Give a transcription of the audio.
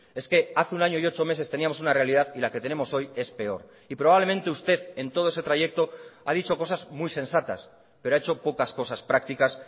es que hace un año y ocho meses teníamos una realidad y la que tenemos hoy es peor y probablemente usted en todo ese trayecto ha dicho cosas muy sensatas pero ha hecho pocas cosas prácticas